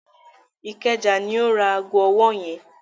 Ìkẹjà ní ó ra ago ọwọ́ yẹn.